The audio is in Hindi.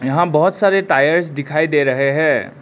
यहां बहोत सारे टायर्स दिखाई दे रहे हैं।